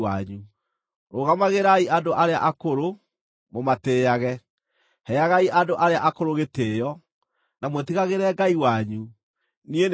“ ‘Rũgamagĩrai andũ arĩa akũrũ, mũmatĩĩage; heagai andũ arĩa akũrũ gĩtĩĩo, na mwĩtigagĩre Ngai wanyu. Niĩ nĩ niĩ Jehova.